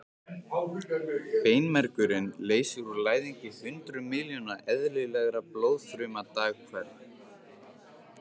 Beinmergurinn leysir úr læðingi hundruð miljóna eðlilegra blóðfruma dag hvern.